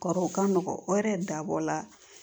Kɔrɔw ka nɔgɔn o yɛrɛ dabɔ la